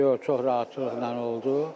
Yox, yox, çox rahatçılıqla oldu.